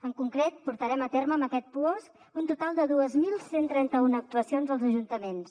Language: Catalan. en concret portarem a terme amb aquest puosc un total de dos mil cent i trenta un actuacions als ajuntaments